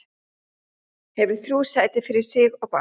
Hefur þrjú sæti fyrir sig og bangsa.